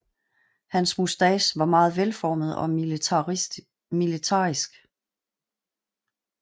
Hans moustache var meget velformet og militaristisk